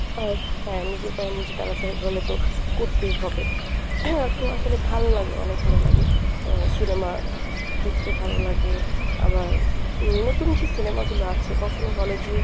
আহ হ্যাঁ নিজের পায়ে নিজে দাঁড়াতে হলে তো, করতেই হবে . তো আসলে ভালো লাগে অনেক ভালো লাগে আহ cinema দেখতে ভালো লাগে আমার নতুন যে cinema গুলো আছে কখনোই hall এ যেয়ে